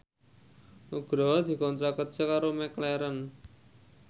Nugroho dikontrak kerja karo McLarren